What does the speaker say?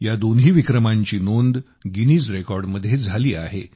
या दोन्ही विक्रमांची नोंद गिनीज रेकॉर्डमध्ये झाली आहे